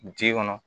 Ji kɔnɔ